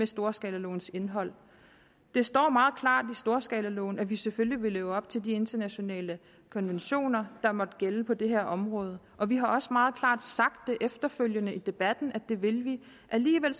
storskalalovens indhold det står meget klart i storskalaloven at vi selvfølgelig vil leve op til de internationale konventioner der måtte gælde på det her område og vi har også meget klart efterfølgende i debatten sagt at det vil vi alligevel